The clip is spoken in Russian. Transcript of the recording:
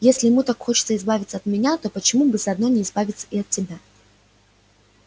если ему так хочется избавиться от меня то почему бы заодно не избавиться и от тебя